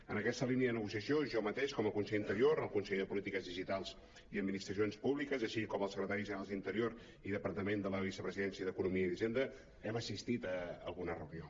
en aquesta línia de negociació jo mateix com a conseller d’interior el conseller de polítiques digitals i administracions públiques així com els secretaris generals d’interior i departament de la vicepresidència i d’economia i d’hisenda hem as·sistit a alguna reunió